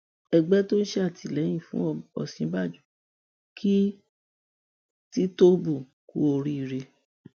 ẹgbẹ tó ń ṣàtìlẹyìn fún òsínbàjò kí tìtóbù kú oríire